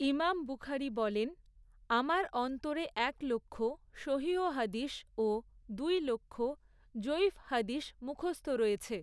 ইমাম বুখারী বলেনঃ আমার অন্তরে এক লক্ষ সহীহ হাদীস ও দুই লক্ষ যঈফ হাদীস মুখস্থ রয়েছে।